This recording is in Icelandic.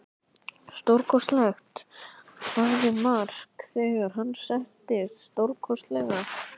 Stórkostlegt, sagði Mark þegar hann settist, stórkostlegt.